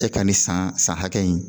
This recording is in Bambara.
E ka nin san san hakɛ in